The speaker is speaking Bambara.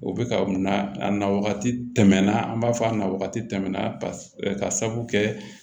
U bɛ ka na a na wagati tɛmɛna an b'a fɔ a na wagati tɛmɛna ka sabu kɛ